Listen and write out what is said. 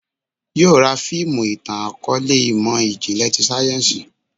Yóò ra fiimu itan-akọọlẹ imọ-jinlẹ ti sáyẹ́nsì